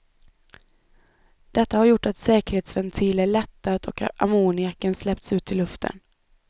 Detta har gjort att säkerhetsventiler lättat och ammoniaken släppts ut i luften.